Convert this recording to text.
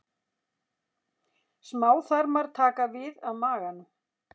Smáþarmar taka við af maganum.